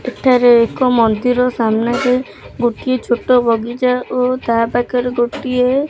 ଏଠାରେ ଏକ ମନ୍ଦିର ସାମ୍ନାରେ ଗୋଟିଏ ଛୋଟ ବଗିଚା ଓ ତା ପାଖରେ ଗୋଟିଏ --